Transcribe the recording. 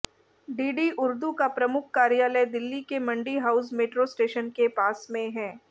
DD Urdu का प्रमुख कार्यालय दिल्ली के मंडी हाउस मेट्रो स्टेशन के पास में है